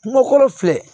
Kungo kɔrɔ filɛ